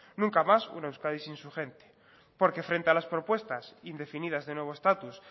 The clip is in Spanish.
nunca más una euskadi sin su gente porque frente a las propuestas indefinidas de nuevo estatus